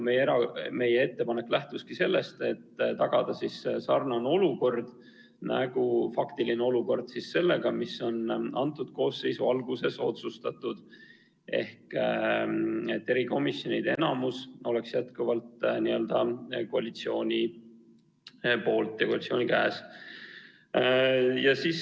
Meie ettepanek lähtuski sellest, et tagada samasugune faktiline olukord, mis selle koosseisu alguses sai otsustatud: et erikomisjoni enamus oleks jätkuvalt koalitsiooni käes.